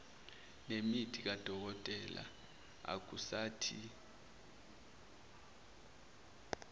nemithi kadokotela akusathi